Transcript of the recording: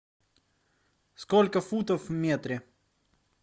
сколько футов в метре